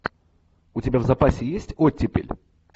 у тебя в запасе есть оттепель